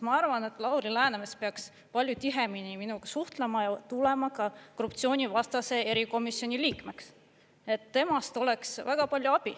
Ma arvan, et Lauri Läänemets peaks palju tihemini minuga suhtlema tulema ka korruptsioonivastase erikomisjoni liikmeks, temast oleks seal väga palju abi.